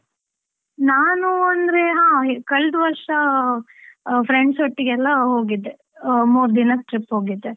ನಾನು ಅಂದ್ರೆ ಹಾ, ಕಳೆದ ವರ್ಷ friends ಒಟ್ಟಿಗೆಲ್ಲ ಹೋಗಿದ್ದೆ. ಮೂರ್ ದಿನ trip ಹೋಗಿದ್ದೆ.